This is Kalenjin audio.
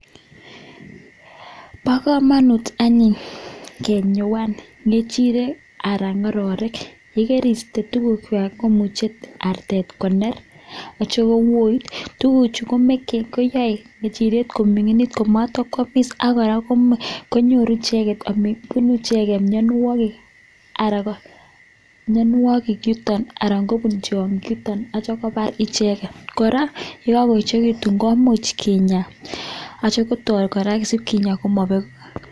Bokomonut anyun kenyoan ng'echirek alan ng'ororek yekeriste tukukwak komuche artet koner ak kitio kowoit, tukuchu koyoe ngechiriet koming'init, komotokwomis ak kora konyoru bunu icheket mionwokik aran mionwokik aran kobun tiong'ik chuton akitio kobar icheket, kora yekokoechekitun komuch kinyaa asikotoi kora kinyaa komobek.